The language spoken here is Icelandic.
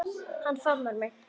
Hann faðmar mig.